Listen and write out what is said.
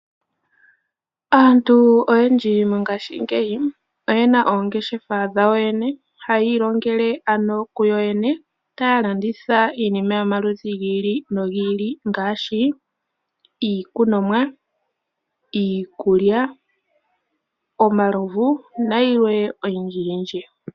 Aantu oyendji mongaashingeyi oyena oongeshefa dhawo yene, hayi ilongele ano kuyo yene, taya landitha iinima yomaludhi gi ili nogi ili ngaashi iikunomwa, iikulya, omalovu nayilwe oyindji yindji.